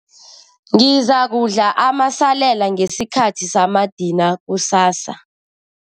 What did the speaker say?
Ngizakudla amasalela ngesikhathi samadina kusasa.